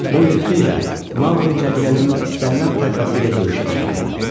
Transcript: Bu il xeyli Maqri cəngəlliyin istənilən tayfası ilə döyüşə çıxa bilərdi.